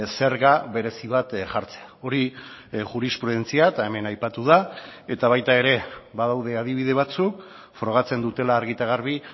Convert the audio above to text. zerga berezi bat jartzea hori jurisprudentzia eta hemen aipatu da eta baita ere badaude adibide batzuk frogatzen dutela argi eta garbi